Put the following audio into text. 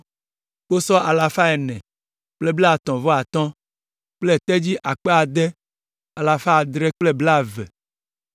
kposɔ alafa ene kple blaetɔ̃ vɔ atɔ̃ (435) kple tedzi akpe ade alafa adre kple blaeve (6,720).